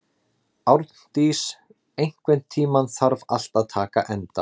Árndís, einhvern tímann þarf allt að taka enda.